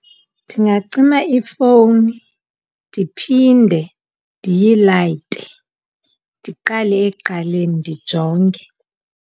Ndingacima ifowuni ndiphinde ndiyilayite, ndiqale ekuqaleni ndijonge.